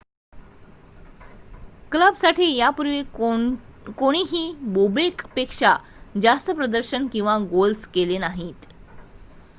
क्लबसाठी यापूर्वी कोणीही बोबेकपेक्षा जास्त प्रदर्शन किंवा गोल्स केले नाहीत